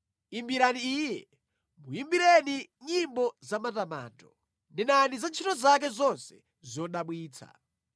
Imbirani Iye, muyimbireni nyimbo zamatamando; nenani za ntchito zake zonse zodabwitsa.